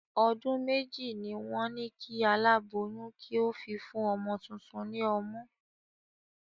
Ọdún méjì ni wọn ni kí alaboyun kí ó fi fún ọmọ tuntun ni ọmú.